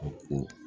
A ko